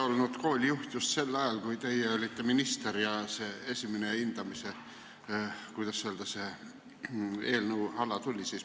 Olin ise koolijuht just sel ajal, kui teie olite minister ja see esimene hindamise, kuidas öelda, eelnõu tuli.